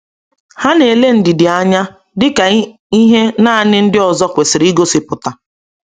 Ha na-ele ndidi anya dị ka ihe naanị ndị ọzọ kwesịrị igosipụta.